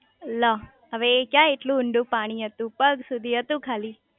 લો હવે એ ક્યાં એટલું ઊંડું પાણી હતું પગ સુધી હતું ખાલી